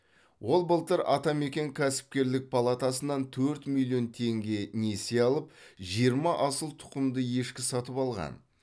ол былтыр атамекен кәсіпкерлік палатасынан төрт миллион теңге несие алып жиырма асыл тұқымды ешкі сатып алған